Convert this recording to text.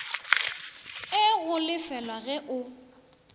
e go lefelago ge o